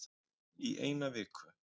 Í eina viku